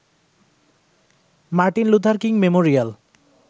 Martin Luther King Memorial